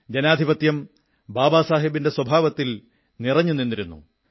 ജനാധിപത്യം ബാബാസാഹബിന്റെ സ്വഭാവത്തിൽ നിറഞ്ഞു നിന്നിരുന്നു